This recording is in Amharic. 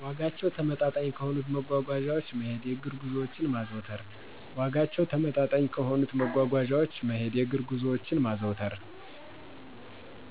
ዋጋቸው ተመጣጣኝ ከሆኑት መጓጓዣወች መሄድ የእግር ጉዞወችን ማዘውተር